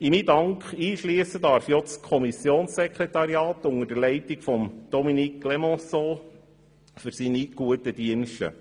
In meinen Dank einschliessen darf ich auch das Kommissionssekretariat unter der Leitung von Dominique Clémençon für seine guten Dienste.